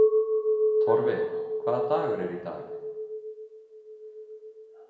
Torfi, hvaða dagur er í dag?